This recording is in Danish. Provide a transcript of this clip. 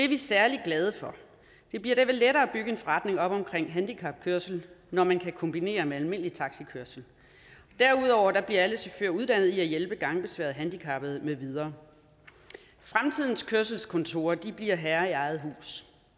vi særlig glade for det bliver derved lettere at bygge en forretning op med handicapkørsel når man kan kombinere det med almindelig taxikørsel derudover bliver alle chauffører uddannet i at hjælpe gangbesværede handicappede med videre fremtidens kørselskontorer bliver herre i eget hus